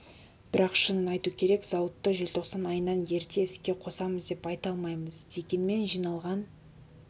бірақ шынын айту керек зауытты желтоқсан айынан ерте іске қосамыз деп айта алмаймыз дегенмен жиналған